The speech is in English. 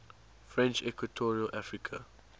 french equatorial africa